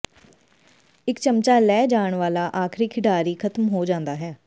ਇੱਕ ਚਮਚਾ ਲੈ ਜਾਣ ਵਾਲਾ ਆਖਰੀ ਖਿਡਾਰੀ ਖਤਮ ਹੋ ਜਾਂਦਾ ਹੈ